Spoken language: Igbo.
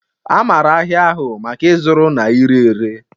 A maara ahịa ahụ maka ịzụrụ na ire ere